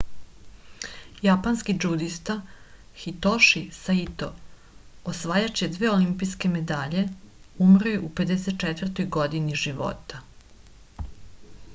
japanski džudista hitoši saito osvajač dve olimpijske medalje umro je u 54. godini života